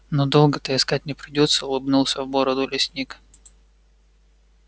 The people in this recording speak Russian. ну долго-то искать не придётся улыбнулся в бороду лесник